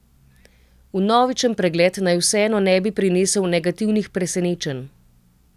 Vnovičen pregled naj vseeno ne bi prinesel negativnih presenečenj.